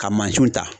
Ka mansinw ta